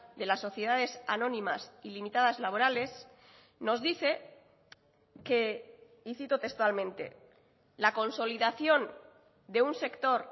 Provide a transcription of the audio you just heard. de las sociedades anónimas y limitadas laborales nos dice que y cito textualmente la consolidación de un sector